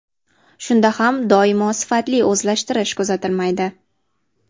Shunda ham doimo sifatli o‘zlashtirish kuzatilmaydi.